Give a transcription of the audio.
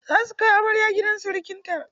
Za su kai amarya gidan sirikanta.